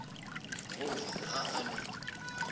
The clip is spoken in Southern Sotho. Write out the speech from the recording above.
ho ja ha a ne